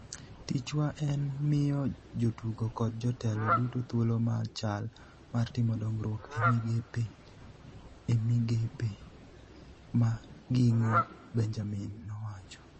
"Tichwa en miyo jotugo kod jotelo duto thuolo machal mar timo dongruok e migepegi e migepe ma gin-go", Benjamin nowacho